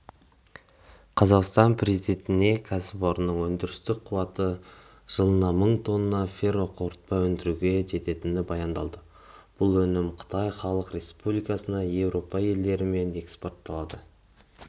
қазақстан президентіне кәсіпорынның өндірістік қуаты жылына мың тонна ферроқорытпа өндіруге жететіні баяндалды бұл өнім қытай халық республикасына еуропа елдері мен экспортталады